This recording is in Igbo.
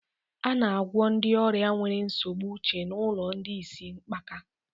A na-agwọ ndị ọrịa nwere nsogbu uche n'ụlọ ndị isi mgbaka